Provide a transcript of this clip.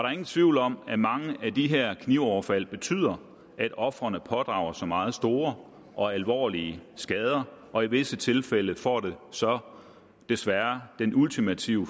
er ingen tvivl om at mange af de her knivoverfald betyder at ofrene pådrager sig meget store og alvorlige skader og i visse tilfælde får det så desværre den ultimative